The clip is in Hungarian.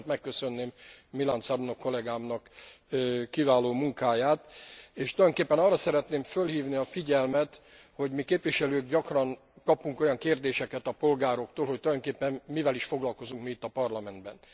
Mindenekelőtt megköszönném Milan Cabrnoch kollegámnak kiváló munkáját, és tulajdonképpen arra szeretném fölhívni a figyelmet, hogy mi, képviselők, gyakran kapunk olyan kérdéseket a polgároktól, hogy tulajdonképpen mivel is foglalkozunk itt a Parlamentben.